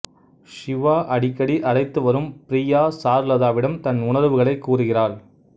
ஷிவா அடிக்கடி அழைத்து வரும் ப்ரியா சாருலதாவிடம் தன் உணர்வுகளை கூறுகிறாள்